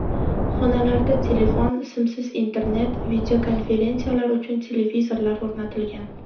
Xonalarda telefon, simsiz internet, videokonferensiyalar uchun televizorlar o‘rnatilgan.